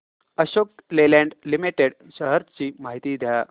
Ashok Leyland limited shares ची माहिती द्या